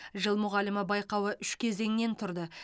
жыл мұғалімі байқауы үш кезеңнен тұрды